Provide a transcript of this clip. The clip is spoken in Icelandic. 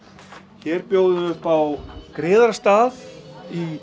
hér bjóðum við upp á griðarstað í